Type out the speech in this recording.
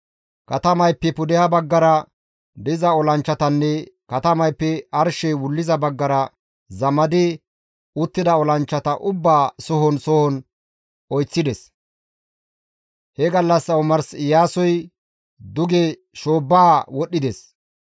Katamayppe pudeha baggara diza olanchchatanne katamayppe arshey wulliza baggara zamadi uttida olanchchata ubbaa soho soho oyththides. He gallassa omars Iyaasoy duge shoobbaa wodhdhides.